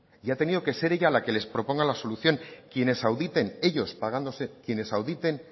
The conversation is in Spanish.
y ha tenido que ser ella la que les proponga la solución quienes auditen ellos pagándose quienes auditen